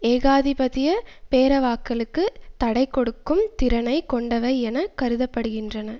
ஏகாதிபத்திய பேரவாக்களுக்கு தடைகொடுக்கும் திறனை கொண்டவை என கருத படுகின்றன